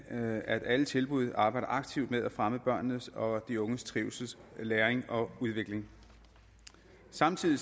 at alle tilbud arbejder aktivt med at fremme børnenes og de unges trivsel læring og udvikling samtidig